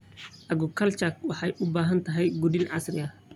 Aquaculture waxay u baahan tahay quudin casri ah.